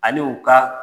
Ani u ka